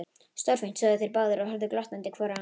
Stórfínt sögðu þeir báðir og horfðu glottandi hvor á annan.